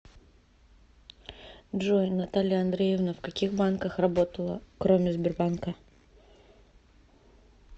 джой наталья андреевна в каких банках работала кроме сбербанка